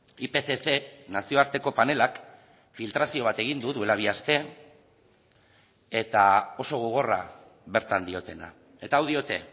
ipcc nazioarteko panelak filtrazio bat egin du duela bi aste eta oso gogorra bertan diotena eta hau diote